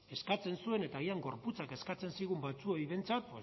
eskatzen zuen eta agian gorputzak eskatzen zigun batzuei behintzat